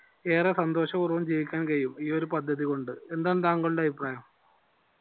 ഏറെ സന്തോഷ പൂർവം ജീവിക്കാൻ കഴിയും ഈ ഒരു പദ്ധതി കൊണ്ട് എന്താണ് താങ്കളുടെ അഭിപ്രായം